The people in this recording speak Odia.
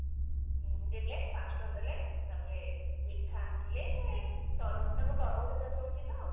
ଉଁ ଦେଲେ ପାଞ୍ଚଶହ ଟଙ୍କା ଦେଲେ ତାପରେ ମିଠା ଆଣିଥିଲେ ତାଙ୍କର ତରଭୁଜ ଚାଷ ହଉଛି ତ